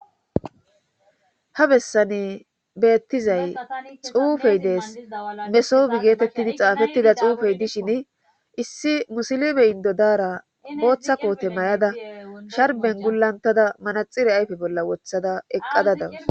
ha bessane beettizay xuufey dees mesobi geetettidi xaafettida xuufey dishin issi musilime indo daara booththa koote may7ada sharben gulantada manaxire ayfe bolla wothada eqqada dawus